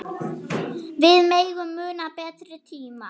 Við megum muna betri tíma.